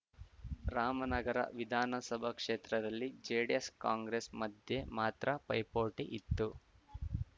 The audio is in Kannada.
ರಾಮನಗರ ವಿಧಾನಸಭಾ ಕ್ಷೇತ್ರದಲ್ಲಿ ಜೆಡಿಎಸ್‌ಕಾಂಗ್ರೆಸ್‌ ಮಧ್ಯೆ ಮಾತ್ರ ಪೈಪೋಟಿ ಇತ್ತು